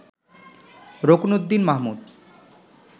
Ruknuddin Mahmud